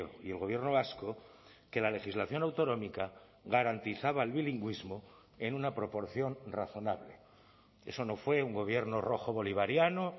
y el gobierno vasco que la legislación autonómica garantizaba el bilingüismo en una proporción razonable eso no fue un gobierno rojo bolivariano